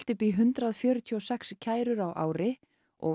upp í hundrað fjörutíu og sex kærur á ári og